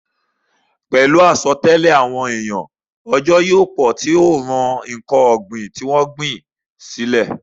Pẹ̀lú àsọtẹ́lẹ̀ àwọn èèyàn, òjò yóò pọ̀ tí yóò ran ǹkan ògbìn tí wọ́n gbìn le